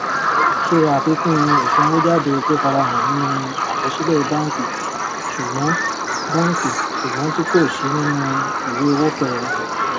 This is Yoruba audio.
ṣe àfikún ìsanwójáde tó farahàn nínú àkọsílẹ bánkì sùgbọn bánkì sùgbọn tí kò sí nínú ìwé owó kẹrin